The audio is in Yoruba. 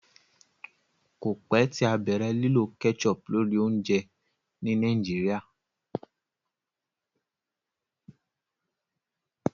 kọ pẹ tí a bẹrẹ lilọ ketchup lórí oúnjẹ ní Nigeria